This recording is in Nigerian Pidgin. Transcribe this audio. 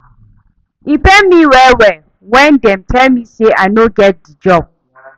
E pain me well-well wen dem tell me sey I no get di job.